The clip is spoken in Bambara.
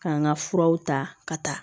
K'an ka furaw ta ka taa